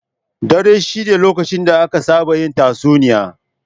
Dare shine lokacin da aka saba yin tatsuniya.